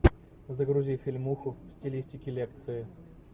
загрузи фильмуху в стилистике лекции